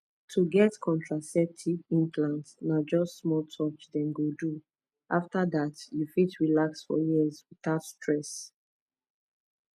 to get contraceptive implant na just small touch dem go do after that you fit relax for years without stress